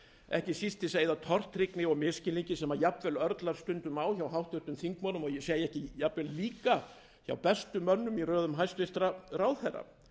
ekki síst til að eyða tortryggni og misskilningi sem jafnvel örlar stundum á hjá háttvirtum þingmönnum og ég segi ekki jafnvel líka hjá bestu mönnum í röðum hæstvirtur ráðherra